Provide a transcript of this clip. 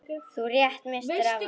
Þú rétt misstir af honum.